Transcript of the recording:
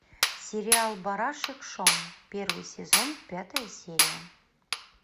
сериал барашек шон первый сезон пятая серия